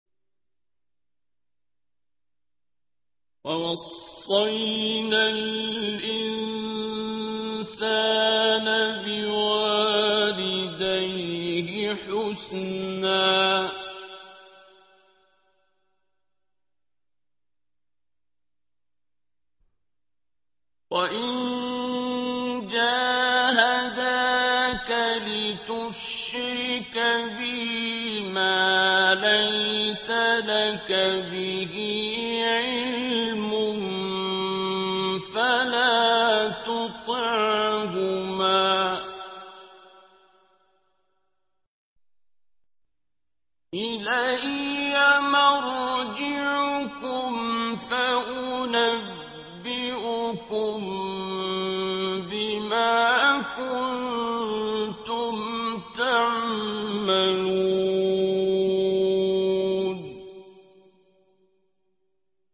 وَوَصَّيْنَا الْإِنسَانَ بِوَالِدَيْهِ حُسْنًا ۖ وَإِن جَاهَدَاكَ لِتُشْرِكَ بِي مَا لَيْسَ لَكَ بِهِ عِلْمٌ فَلَا تُطِعْهُمَا ۚ إِلَيَّ مَرْجِعُكُمْ فَأُنَبِّئُكُم بِمَا كُنتُمْ تَعْمَلُونَ